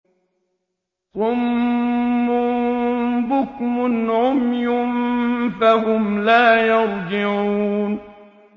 صُمٌّ بُكْمٌ عُمْيٌ فَهُمْ لَا يَرْجِعُونَ